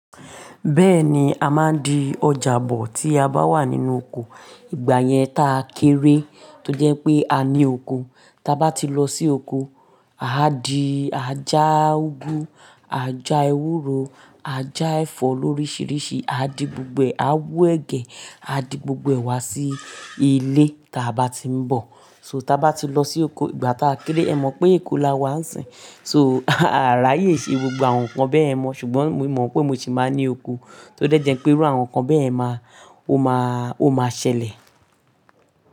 Bẹ́ẹ̀ni, a máa ń di ọjà bọ̀ tí a bá wà nínú oko. Ìgbà yẹn taa kéré tó jẹ́ pé a ní oko. Taba ti lọ sí oko, a di ajá úgú, ajá ewúro, ajá ẹ̀fọ́ loríṣiríṣi, a di gbogbo rẹ, a wu ẹ̀gẹ́, a di gbogbo ẹ̀ wá sí ilé táa bá ti ń bọ̀. So taba ti lọ sí oko ìgbà táa kéré, ẹ mọ̀ pé eko la wà á sìn. So àráyè ṣe gbogbo àwọn nǹkan bẹ́yẹ̀n mọ́, ṣùgbọ́n mo mọ̀ pé mo sì máa ní oko tó dẹ́jẹ́ pé irú àwọn nǹkan bẹ́yẹ̀b máa, ó máa, ó máa ṣẹlẹ̀.